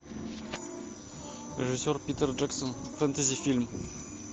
режиссер питер джексон фэнтези фильм